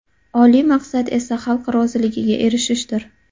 Oliy maqsad esa xalq roziligiga erishishdir!